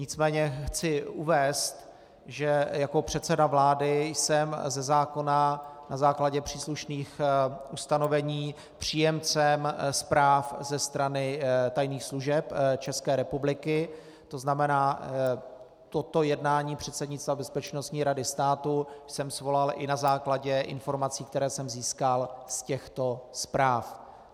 Nicméně chci uvést, že jako předseda vlády jsem ze zákona na základě příslušných ustanovení příjemcem zpráv ze strany tajných služeb České republiky, to znamená, toto jednání předsednictva Bezpečnostní rady státu jsem svolal i na základě informací, které jsem získal z těchto zpráv.